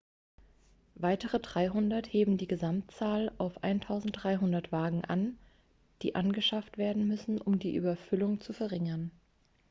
weitere 300 heben die gesamtzahl auf 1.300 wagen an die angeschafft werden müssen um die überfüllung zu verringern.x